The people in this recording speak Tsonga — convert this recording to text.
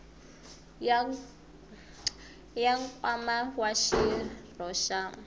ya nkwama wa xirho xa